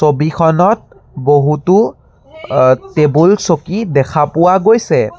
ছবিখনত বহুতো টেবুল চকী দেখা পোৱা গৈছে।